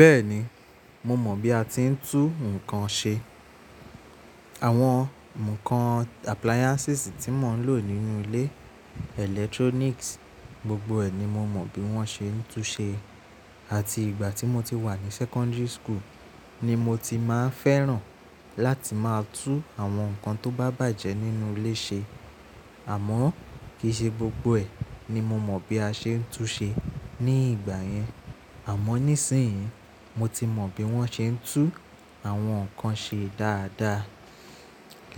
Bẹ́ẹ̀ni, mo mọ̀ bí a ti ń tú nǹkan ṣe. Àwọn nǹkan ohun elotí mò ń lò nínú ilé, àwọn èro ìtàn a, gbogbo ẹ̀ ni mo mọ bí wọ́n ṣe ń tú ṣe. Àti ìgbà tí mo ti wà ní secondary school ni mo ti máa ń fẹ́ràn láti máa tú àwọn nǹkan tó bá bàjẹ́ nínú ilé ṣe. Àmọ́ kì í ṣe gbogbo ẹ̀ ni mo mọ̀ bí a ṣe ń tú ṣe ní ìgbà yẹn. Àmọ́ nísìnyí mo ti mọ̀ bí wọ́n ṣe ń tú àwọn nǹkan ṣe dáadáa.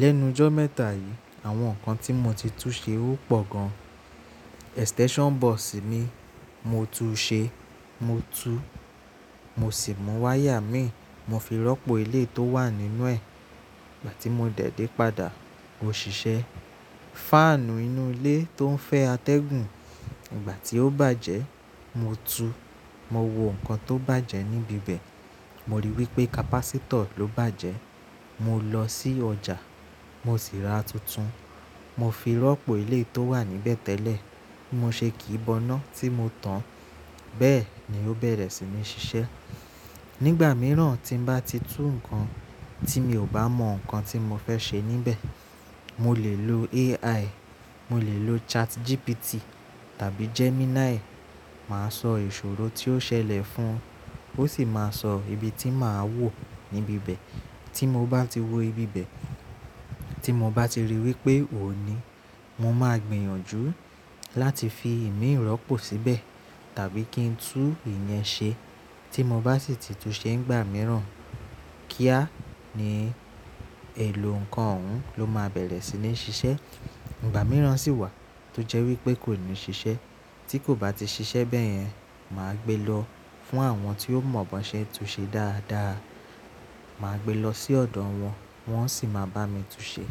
Lẹ́nu jọ́ mẹ́ta yìí, àwọn nǹkan tí mo ti tún ṣe ó pò gan. Àpótí ifagun mi, mo tú ṣe. Mo tú, mo sì mú wáyà ẹ́mi, mo fi rọ́pò eléyi tó wà nínú ẹ̀. Ìgbà tí mo dẹ̀ dé padà ó ṣiṣẹ́. Fáànù inú ilé tó ń fẹ́ atẹ́gùn, ìgbà tí ó bàjẹ́, mo tú, mo wo nǹkan tó bàjẹ́ níbi bẹ̀. Mo rí wípé capacitor ló bàjẹ́. Mo lọ sí ọjà, mo sì ra tuntun. Mo fi rọ́pò ilé tó wà níbẹ̀ tẹ́lẹ̀. Mo ṣe kìí boná tí mo tan, bẹ́ẹ̀ ni ó bẹ̀rẹ̀ sí ní ṣiṣẹ́. Nígbà mìíràn tí bá ti tú nǹkan tí mi ò bá mọ nǹkan tí mo fẹ́ ṣe níbẹ̀, mo lè lo AI, mo lè lo ChatGPT tàbí Gemini. Máa sọ ìṣòro tí ó ṣẹlẹ̀ fún ùn, ó sì máa sọ ibi tí màá wò níbi bẹ̀. Tí mo bá ti wo ibi bẹ̀, tí mo bá ti rí wípé òní, mo máa gbìyànjú láti fi ìmí rọ̀pó síbẹ̀ tàbí kí n tú ìyẹn ṣe. Tí mo bá sì ti tú ṣe nígbà mìíràn, kíá ni èlò nǹkan òhún ló máa bẹ̀rẹ̀ sí ní ṣiṣẹ́. Ìgbà mìíràn sì wà tó jẹ́ wípé kò ní ṣiṣẹ́. Tí kò bá ti ṣiṣẹ́ bẹ́yẹn, màá gbe lọ fún àwọn tí ó mọ̀ bó ṣe ń tú ṣe dáadáa. Màá gbe lọ sí ọ̀dọ̀ wọn, wọ́n sì máa bá mi tú ṣe.